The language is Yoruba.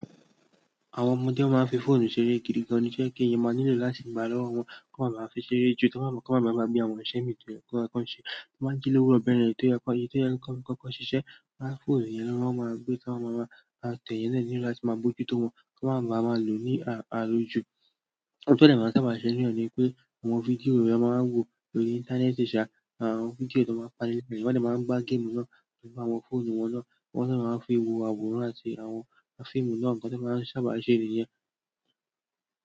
Àwọn ọmọdé máa ń fi fóònù ṣeré gidi gan, to jẹ kí ẹni máa nílò láti gbà lọ́wọ́ wọn, kí wọ́n máa baa m fi ṣeré jù, kí wọ́n máa ba bí i àwọn iṣẹ́ mìíràn tí wọ́n máa ń ṣe. Wọ́n a ń jí lowurọ beyẹn tí ó yẹ kó ṣe, tí ó yẹ kan kọkọ ṣíṣe. Fóònù yẹn ni wọ́n máa ń gbé, tan maa máa tẹ̀ eeyan dẹ nílò láti máa mójú tó wọn, kí wọ́n máa lò ó ní alojú. Ohun tan dẹ maa n sábà náà ni pé àwọn fídíò ni wọ́n máa ń wò lórí ìntanẹ́ẹ̀tì ṣá, àwọn fídíò tó máa ń panilẹ́. Wọ́n dẹ máa ń gbá géèmù náà nípa àwọn fóònù wọn náà, wọ́n dẹ máa ń fi wo àwòrán àti àwọn fíìmù náà, nǹkan tí wọ́n sábà ń ṣe nìyẹn.